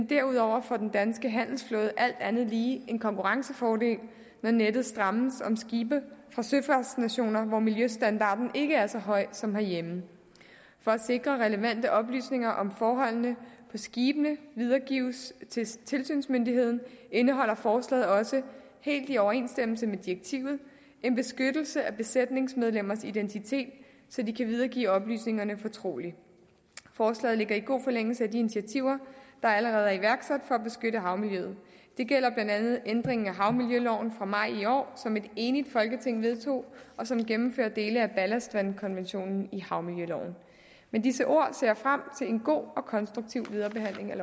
derudover får den danske handelsflåde alt andet lige en konkurrencefordel når nettet strammes om skibe fra søfartsnationer hvor miljøstandarden ikke er så høj som herhjemme for at sikre at relevante oplysninger om forholdene på skibene videregives til tilsynsmyndigheden indeholder forslaget også helt i overensstemmelse med direktivet en beskyttelse af besætningsmedlemmers identitet så de kan videregive oplysningerne fortroligt forslaget ligger i god forlængelse af de initiativer der allerede er iværksat for at beskytte havmiljøet det gælder blandt andet ændringen af havmiljøloven fra maj i år som et enigt folketing vedtog og som vil gennemføre dele af ballastvandkonventionen i havmiljøloven med disse ord ser jeg frem til en god og konstruktiv videre behandling af